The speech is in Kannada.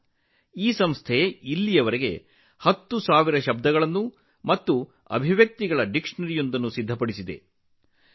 ಈ ಸಂಸ್ಥೆಯು ಇದುವರೆಗೆ ಹತ್ತು ಸಾವಿರ ಪದಗಳು ಮತ್ತು ಅಭಿವ್ಯಕ್ತಿಗಳನ್ನು ಒಳಗೊಂಡಿರುವ ನಿಘಂಟನ್ನು ಸಿದ್ಧಪಡಿಸಿದೆ ಎಂದು ತಿಳಿದು ನನಗೆ ಸಂತೋಷವಾಗಿದೆ